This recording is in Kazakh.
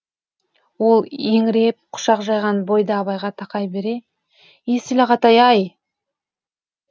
ол еңіреп қушақ жайған бойда абайға тақай бере есіл ағатай ай